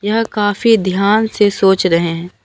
यह काफी ध्यान से सोच रहे हैं।